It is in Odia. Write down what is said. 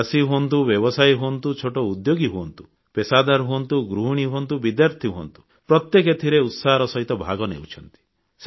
ଚାଷୀ ହୁଅନ୍ତୁ ବ୍ୟବସାୟୀ ହୁଅନ୍ତୁ ଛୋଟ ଉଦ୍ୟୋଗୀ ହୁଅନ୍ତୁ ପେଷାଦାର ହୁଅନ୍ତୁ ଗୃହିଣୀ ହୁଅନ୍ତୁ ବିଦ୍ୟାର୍ଥୀ ହୁଅନ୍ତୁ ପ୍ରତ୍ୟେକେ ଏଥିରେ ଉତ୍ସାହର ସହିତ ଭାଗ ନେଉଛନ୍ତି